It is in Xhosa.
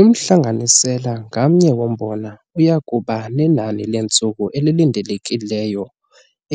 Umhlanganisela ngamnye wombona uya kuba nenani leentsuku elilindelekileyo